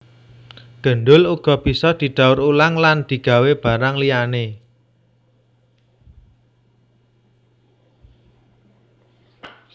Gendul uga bisa didaur ulang lan digawé barang liyané